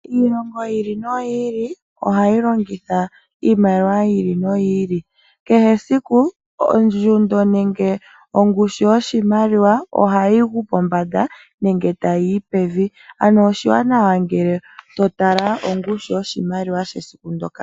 Iilongo yiili no yiili oha yi longitha iimaliwa yiili no yiili, kehe esiku ondjundo nenge ongushu yoshimaliwa oha yiyi pombanda nenge tayi yi pevi ano oshiwanana ngele to tala ongushu yo shimaliwa shoka.